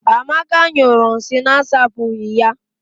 Amaka nyụrụ nsị na-asapụghị ya.